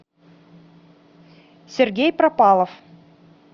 сергей пропалов